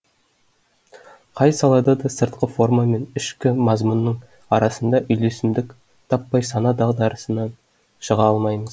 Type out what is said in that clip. қай салада да сыртқы форма мен ішкі мазмұнның арасынан үйлесімдік таппай сана дағдарысынан шыға алмаймыз